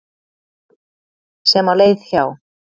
sem á leið hjá.